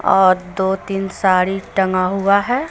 और दो तीन साड़ी टंगा हुआ है ।